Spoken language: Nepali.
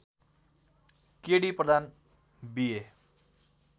के डी प्रधान बी ए